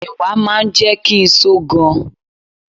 Ẹ̀wà máa ń jẹ́ kí n só gan.